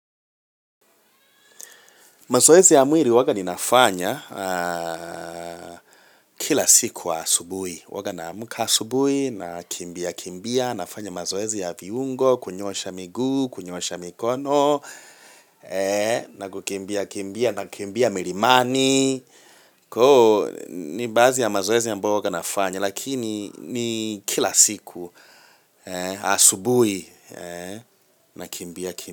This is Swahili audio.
Mazoezi ya mwili huwa ninafanya kila siku asubuhi. Huwa na amka asubuhi na kimbia kimbia, nafanya mazoezi ya viungo, kunyoosha miguu, kunyoosha mikono, na kukimbia kimbia, nakimbia milimani. Koo, ni baadhi ya mazoezi ambayo huwa ninafanya, lakini ni kila siku asubuhi na kimbia kimbia.